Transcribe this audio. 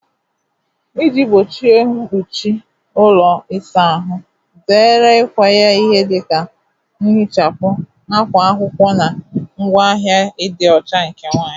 Iji gbochie mkpuchi ụlọ ịsa ahụ, zere ịkwanye ihe dị ka nhichapụ, akwa akwụkwọ, na ngwaahịa ịdị ọcha nke nwanyị.